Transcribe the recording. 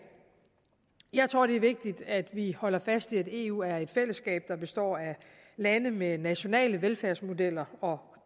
jeg tror det er vigtigt at vi holder fast i at eu er et fællesskab der består af lande med nationale velfærdsmodeller og